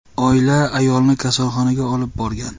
Oila ayolni kasalxonaga olib borgan.